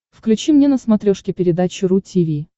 включи мне на смотрешке передачу ру ти ви